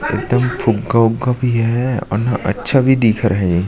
एकदम फुग्गा उग्गा भी है और ना अच्छा भी दिख रहा है ये--